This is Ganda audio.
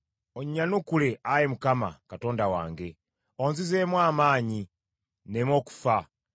Onnyanukule, Ayi Mukama Katonda wange; onzizeemu amaanyi nneme okufa.